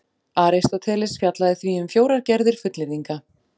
Aristóteles fjallaði því um fjórar gerðir fullyrðinga: